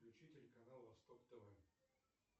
включи телеканал восток тв